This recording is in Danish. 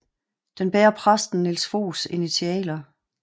Den bærer præsten Niels Foghs initialer